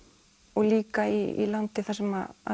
og líka í landi þar sem